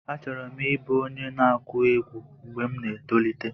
Achọburu m ịbụ onye na-akụ egwú mgbe m na-etolite.